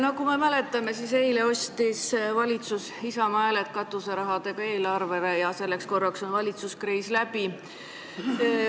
Nagu me mäletame, eile ostis valitsus Isamaa hääled katuserahadega eelarvele ja selleks korraks on valitsuskriis läbi.